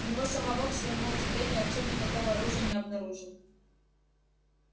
у него самого к своему удивлению артём никакого оружия не обнаружил